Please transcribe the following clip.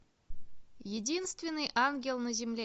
единственный ангел на земле